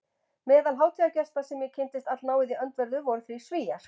Meðal hátíðargesta sem ég kynntist allnáið í öndverðu voru þrír Svíar